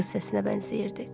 Qız səsinə bənzəyirdi.